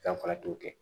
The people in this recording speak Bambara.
Fɛn fara t'o kɛ